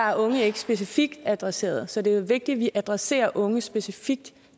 er unge ikke specifikt adresseret så det er jo vigtigt at vi adresserer unge specifikt